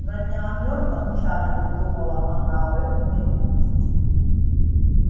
но не о мёртвом чарлзе думала она в эту минуту